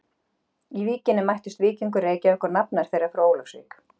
Í Víkinni mætust Víkingur Reykjavík og nafnar þeirra frá Ólafsvík.